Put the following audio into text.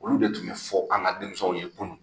Olu de tun bɛ fɔ an ka denmisɛnw ye kunun.